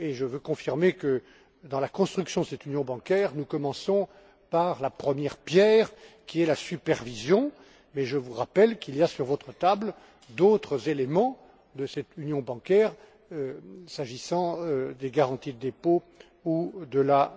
Je veux confirmer que dans la construction de cette union bancaire, nous commençons par la première pierre, à savoir la supervision, et je vous rappelle qu'il y a sur votre table d'autres éléments de cette union bancaire, s'agissant des garanties de dépôt ou de la